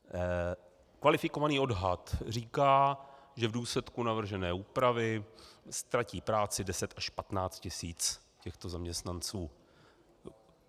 Kvalifikovaný odhad říká, že v důsledku navržené úpravy ztratí práci 10 až 15 tisíc těchto zaměstnanců.